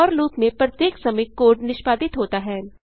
four loop में प्रत्येक समय कोड निष्पादित होता है